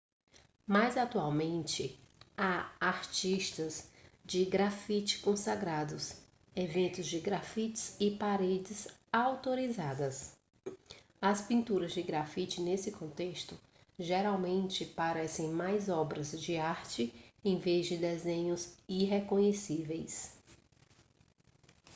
mas atualmente há artistas de grafite consagrados eventos de grafite e paredes autorizadas as pinturas de grafite nesse contexto geralmente parecem mais obras de arte em vez de desenhos irreconhecíveis